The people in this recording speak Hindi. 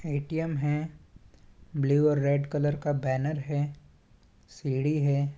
ए_टी_एम है ब्लू और रेड कलर का बैनर है सीढी़ है।